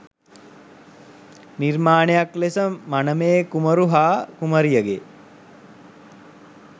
නිර්මාණයක් ලෙස මනමේ කුමරු හා කුමරියගේ